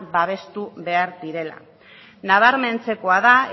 babestu behar direla nabarmentzekoa da